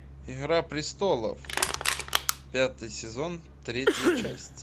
игра престолов пятый сезон третья часть